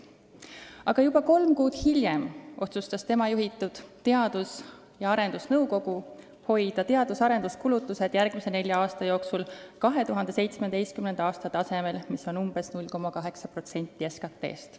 Aga juba kolm kuud hiljem otsustas tema juhitud Teadus- ja Arendusnõukogu hoida teadus- ja arenduskulutused järgmise nelja aasta jooksul 2017. aasta tasemel, mis on umbes 0,8% SKT-st.